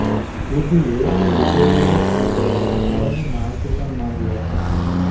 ઈડીએ દુબે વિરૂદ્ધ નોંધાયેલા ગુનાઓની માહિતી પણ માગી હતી